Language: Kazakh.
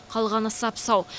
қалғаны сап сау